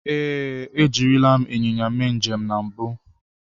Ee, ejirila m ịnyịnya mee njem na mbụ.